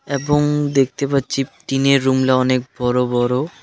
এবং দেখতে পাচ্ছি টিনের রুমটা অনেক বড়ো বড়ো.